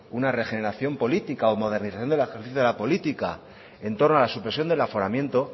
una regeneración política o modernización del ejercicio de la política en torno a la supresión del aforamiento